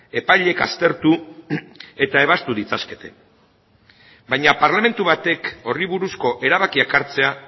epaileek aztertu eta ebaztu ditzakete baina parlamentu batek horri buruzko erabakiak hartzea